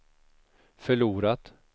förlorat